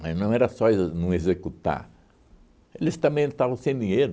Mas não era só não executar, eles também estavam sem dinheiro.